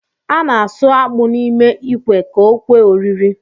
A na-asụ akpụ n’ime ikwe ka o kwe oriri